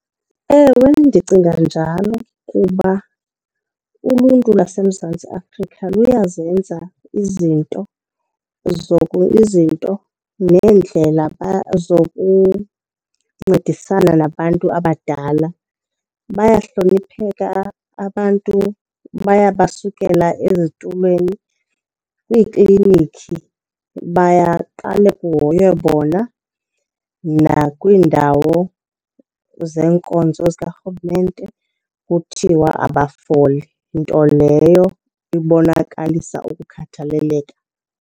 Ewe, ndicinga njalo kuba uluntu lwaseMzantsi Afrika luyazenza izinto izinto neendlela zokuncedisana nabantu abadala. Bayahlonipheka abantu baya basukela ezitulweni, kwiiklinikhi bayaqala kuhoywe bona, nakwiindawo zeenkonzo zikarhulumente kuthiwa abafoli. Nto leyo ibonakalisa ukukhathaleleka.